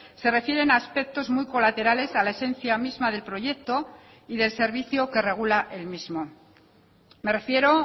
se refieren a aspectos muy colaterales a la esencia misma del proyecto y del servicio que regula el mismo me refiero